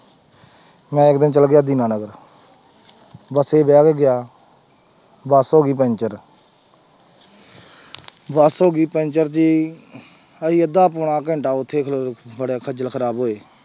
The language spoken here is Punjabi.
ਮੈਂ ਇੱਕ ਦਿਨ ਚਲਾ ਗਿਆ ਦੀਨਾ ਨਗਰ ਬਸੇ ਬਹਿ ਕੇ ਗਿਆ ਬਸ ਹੋ ਗਈ ਪੈਂਚਰ ਬਸ ਹੋ ਗਈ ਪੈਂਚਰ ਜੀ ਅਸੀਂ ਅੱਧਾ ਪੌਣਾ ਘੰਟਾ ਉੱਥੇ ਖਲੋ ਬੜੇ ਖੱਝਲ ਖ਼ਰਾਬ ਹੋਏ।